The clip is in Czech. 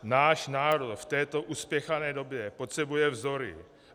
Náš národ v této uspěchané době potřebuje vzory.